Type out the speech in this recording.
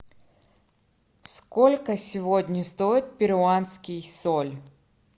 сколько сегодня стоит перуанский соль